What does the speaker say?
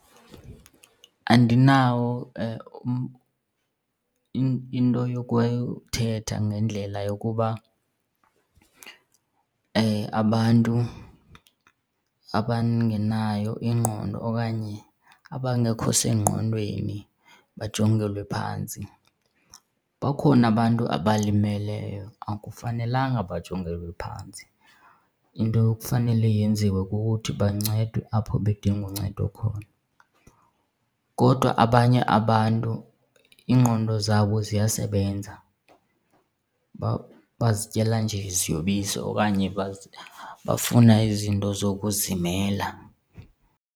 Andinawo into yokuthetha ngendlela yokuba abantu abangenayo ingqondo okanye abangekho sengqondweni bajongelwe phantsi. Bakhona abantu abalimeleyo, akufanelanga bajongelwa phantsi, into ekufanele yenziwe kukuthi bancedwe apho bedinga uncedo khona. Kodwa abanye abantu iingqondo zabo ziyasebenza, bazityela nje iziyobisi okanye bafuna izinto zokuzimela.